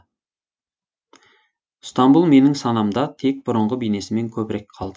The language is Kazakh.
стамбұл менің санамда тек бұрынғы бейнесімен көбірек қалды